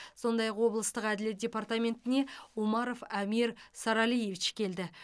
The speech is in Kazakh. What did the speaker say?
сондай ақ облыстық әділет департаментіне умаров амир саралиевич келді